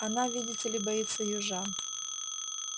она видите ли боится южан